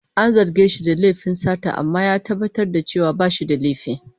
An zarge shi da laifin sata amma ya tabbatar da cewa ba shi da laifi.